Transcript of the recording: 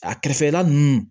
A kɛrɛfɛla nunnu